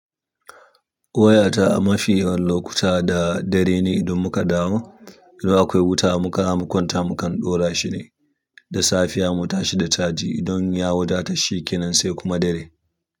Wayata a mafi yawan lokuta da dare ne idan muka dawo idan akwai wuta muka makwanta mukan ɗora shine da safiya mu tashi da caji. Idan ya wadata shikenan sai kuma dare.